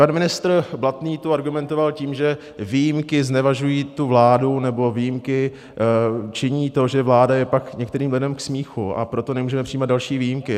Pan ministr Blatný tu argumentoval tím, že výjimky znevažují tu vládu, nebo výjimky činí to, že vláda je pak některým lidem k smíchu, a proto nemůžeme přijímat další výjimky.